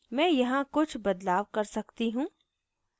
मैं यहाँ कुछ बदलाव कर सकती हूँ